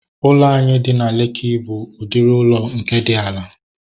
Ụlọ anyị nke dị na Lekki bụ udiri ụlọ nke dị ala